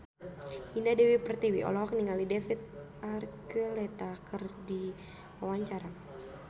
Indah Dewi Pertiwi olohok ningali David Archuletta keur diwawancara